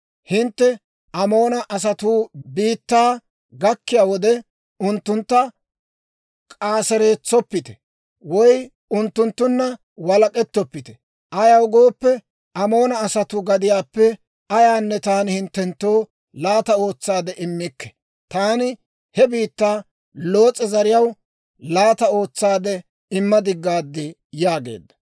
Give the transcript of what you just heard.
Hintte Amoona asatuu biittaa gakkiyaa wode, unttuntta k'aaseretsoppite woy unttunttunna walak'k'ettoppite. Ayaw gooppe, Amoona asatuu gadiyaappe ayaanne taani hinttenttoo laata ootsaade immikke. Taani he biittaa Loos'e zariyaw laata ootsaade imma diggaad› yaageedda.